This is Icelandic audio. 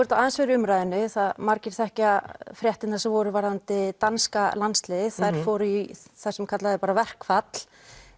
þetta aðeins verið í umræðunni margir þekkja fréttirnar sem voru varðandi danska landsliðið þær fóru í það sem kallað er bara verkfall